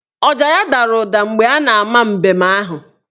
Ọja ya dara ụda mgbe a na ama mbem ahụ